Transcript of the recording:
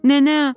Nənə!